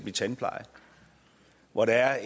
i tandpleje hvor der er